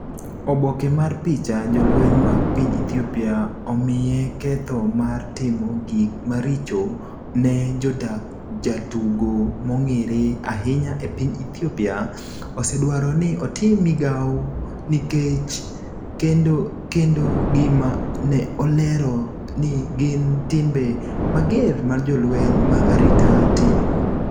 Oboke mar picha, Jolweny mag piny Ethiopia omiye ketho mar timo gik maricho ne jodak Jatugo mong’ere ahinya e piny Ethiopia osedwaro ni otim Migao nikech kendo gima ne olero ni gin timbe mager ma jolweny mag arita timo.